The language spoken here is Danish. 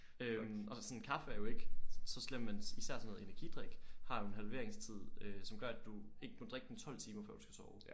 Øh og så sådan kaffe er jo ikke så slem men især sådan noget energidrik har jo en halveringstid øh som gør at du ikke må drikke den 12 timer før du skal sove